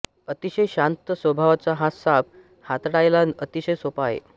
अतिशय शांत स्वभावाचा हा साप हाताळायला अतिशय सोपा आहे